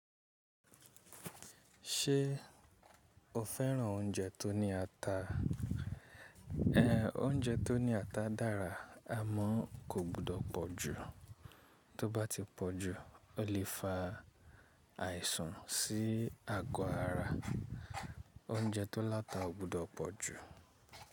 Ṣé o fẹ́ràn oúnjẹ tó ní ata? Ehn, oúnjẹ tó ní ata dára. Amọ kò gbọdọ̀ pọ̀ jù, tó bá ti pọ̀ jù ó lè fa àìsàn sí ago ara. Oúnjẹ tó láta ò gbọdọ̀ pọ̀ jù.